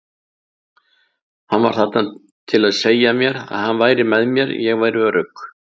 Hann var þarna til að segja mér að hann væri með mér, ég væri örugg.